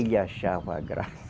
Ele achava graça.